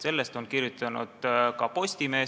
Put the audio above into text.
Sellest on kirjutanud ka Postimees.